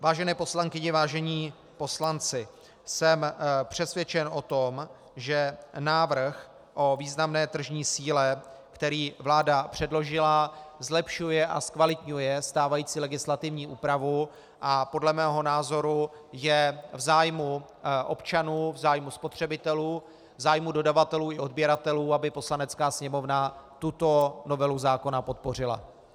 Vážené poslankyně, vážení poslanci, jsem přesvědčen o tom, že návrh o významné tržní síle, který vláda předložila, zlepšuje a zkvalitňuje stávající legislativní úpravu, a podle mého názoru je v zájmu občanů, v zájmu spotřebitelů, v zájmu dodavatelů i odběratelů, aby Poslanecká sněmovna tuto novelu zákona podpořila.